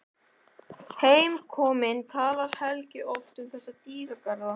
Heimkominn talar Helgi oft um þessa dýrðardaga.